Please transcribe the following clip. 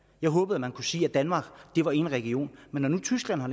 jeg håbede man kunne sige at danmark var en region men når nu tyskland har